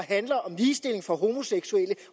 handler om ligestilling for homoseksuelle